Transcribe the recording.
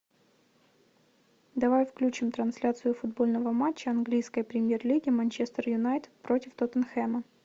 давай включим трансляцию футбольного матча английской премьер лиги манчестер юнайтед против тоттенхэма